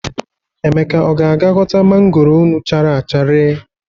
Emeka, ọ ga-aga ghọta mangoro unu chara acha ree?